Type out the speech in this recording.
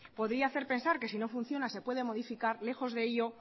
podría hacer pensar que si no funciona se puede modificar lejos de ello